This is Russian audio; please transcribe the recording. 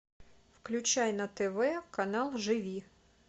включай на тв канал живи